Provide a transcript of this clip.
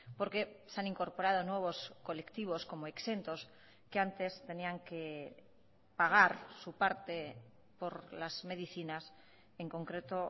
porque se han incorporado nuevos colectivos como exentos que antes tenían que pagar su parte por las medicinas en concreto